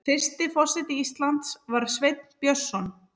Fyrsti forseti Íslands var Sveinn Björnsson.